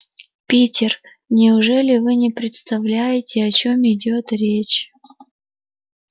питер неужели вы не представляете о чём идёт речь